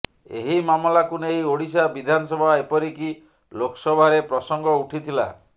ଏହି ମାମଲାକୁ ନେଇ ଓଡ଼ିଶା ବିଧାନସଭା ଏପରିକି ଲୋକସଭାରେ ପ୍ରସଙ୍ଗ ଉଠିଥିଲା